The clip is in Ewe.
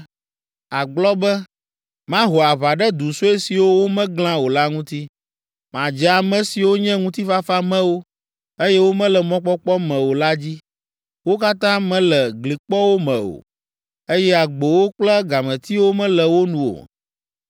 Àgblɔ be, “Maho aʋa ɖe du sue siwo womeglã o la ŋuti. Madze ame siwo nye ŋutifafamewo, eye womele mɔkpɔkpɔ me o la dzi; wo katã mele glikpɔwo me o, eye agbowo kple gametiwo mele wo nu o.